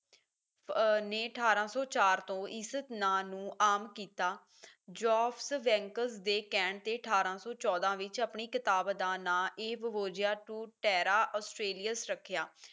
ਅਹ ਨੇ ਅਠਾਰਾਂ ਸੌ ਚਾਰ ਤੋਂ ਇਸ ਨਾਂ ਨੂੰ ਆਮ ਕੀਤਾ joseph banks ਦੇ ਕਹਿਣ ਤੇ ਅਠਾਰਾਂ ਸੌ ਚੌਦਾ ਵਿੱਚ ਆਪਣੀ ਕਿਤਾਬ ਦਾ ਨਾਮ A voyage to terra australia ਰੱਖਿਆ